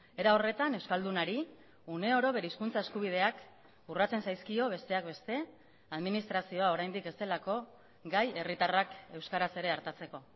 era horretan euskaldunari uneoro bere hizkuntza eskubideak urratzen zaizkio besteak beste administrazioa oraindik ez delako gai herritarrak euskaraz ere artatzeko